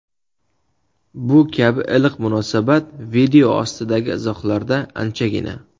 Bu kabi iliq munosabat video ostidagi izohlarda anchagina.